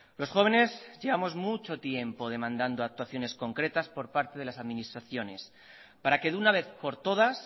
los jóvenes llevamos mucho tiempo demandando actuaciones concretas por parte de las administraciones para que de una vez por todas